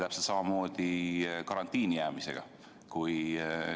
Täpselt samamoodi on karantiini jäämisega.